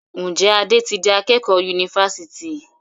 Njé Ade tí dì akékò Yunifásitì?